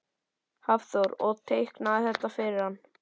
Hafþór: Og teiknaðirðu þetta fyrir hann?